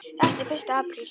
Þetta er fyrsti apríl.